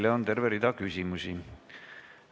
Teile on terve rida küsimusi.